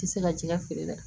I tɛ se ka jɛgɛ feere la